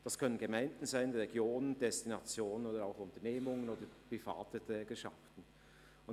Das können Gemeinden, Regionen und Destinationen oder Unternehmungen und private Trägerschaften sein.